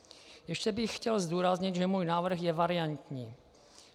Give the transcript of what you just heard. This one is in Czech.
Ještě bych chtěl zdůraznit, že můj návrh je variantní.